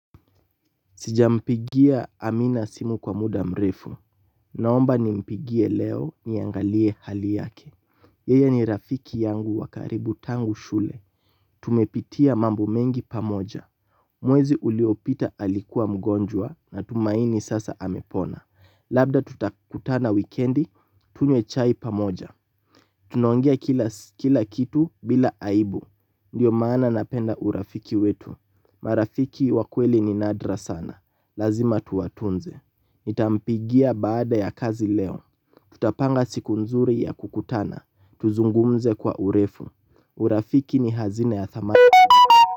Sijampigia Amina simu kwa muda mrefu. Naomba nimpigie leo niangalie hali yake. Yeye ni rafiki yangu wa karibu tangu shule. Tumepitia mambo mengi pamoja. Mwezi uliopita alikuwa mgonjwa natumaini sasa amepona. Labda tutakutana wikendi tunywe chai pamoja. Tunaongea kila kitu bila aibu. Ndiyo maana napenda urafiki wetu. Marafiki wa kweli ni nadra sana, lazima tuwatunze. Nitampigia baada ya kazi leo. Tutapanga siku nzuri ya kukutana, tuzungumze kwa urefu. Urafiki ni hazina ya thamani.